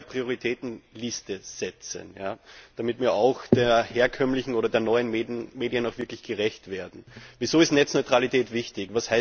Wir müssen da eine neue Prioritätenliste setzen, damit wir auch den herkömmlichen oder den neuen Medien wirklich gerecht werden. Wieso ist Netzneutralität wichtig?